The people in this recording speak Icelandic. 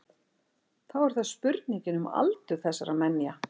Þá er það spurningin um aldur þessara menja.